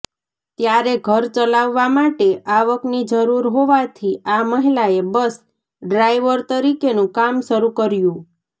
ત્યારે ઘર ચલાવવા માટે આવક જરૂરી હોવાથી આ મહિલાએ બસ ડ્રાઈવર તરીકેનું કામ શરૂ કર્યું